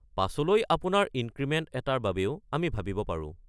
পাছলৈ আপোনাৰ ইনক্ৰিমেণ্ট এটাৰ বাবেও আমি ভাবিব পাৰোঁ।